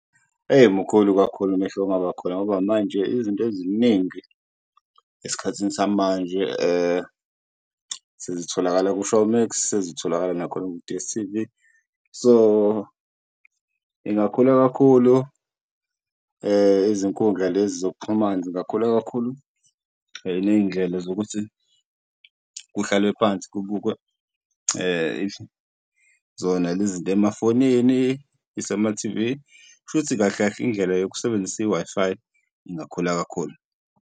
Eyi mkhulu kakhulu umehluko ongaba khona ngoba manje izinto eziningi eskhathini samanje sezitholakala ku-Showmax, sezitholakala nakhona ku-D_S_T_V. So ingakhuluma kakhulu izinkundla lezi zokuxhumana zingakhula kakhulu, ney'ndlela zokuthi kuhlalwe phansi kubukwe zona lezi zinto emafonini, isema-T_V. Kushuthi kahle kahle indlela yokusebenzisa i-Wi-Fi ingakhula kakhulu.